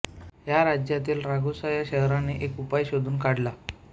या राज्यातील रागुसा या शहराने एक उपाय शोधून काढला